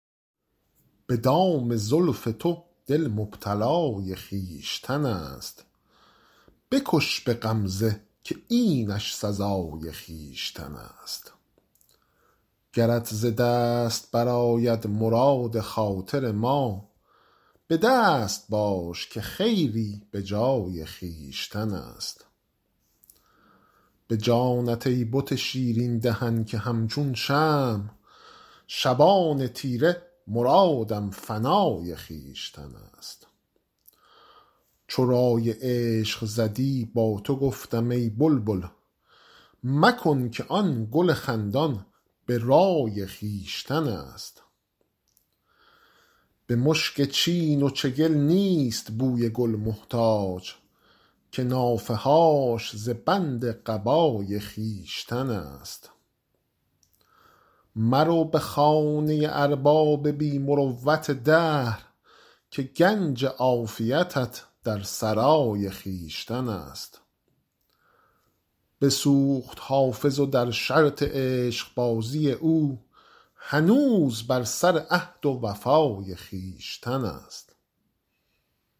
به دام زلف تو دل مبتلای خویشتن است بکش به غمزه که اینش سزای خویشتن است گرت ز دست برآید مراد خاطر ما به دست باش که خیری به جای خویشتن است به جانت ای بت شیرین دهن که همچون شمع شبان تیره مرادم فنای خویشتن است چو رای عشق زدی با تو گفتم ای بلبل مکن که آن گل خندان به رای خویشتن است به مشک چین و چگل نیست بوی گل محتاج که نافه هاش ز بند قبای خویشتن است مرو به خانه ارباب بی مروت دهر که گنج عافیتت در سرای خویشتن است بسوخت حافظ و در شرط عشقبازی او هنوز بر سر عهد و وفای خویشتن است